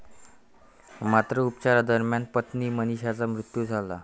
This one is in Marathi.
मात्र, उपचारादरम्यान, पत्नी मनिषाचा मृत्यू झाला.